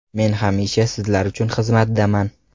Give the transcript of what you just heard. Men hamisha sizlar uchun xizmatdaman.